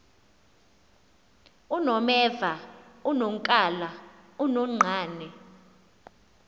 unomeva unonkala unonqane